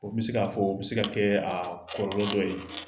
n be se ka fɔɔ, o be se ka kɛɛ aa kɔlɔlɔ dɔ ye.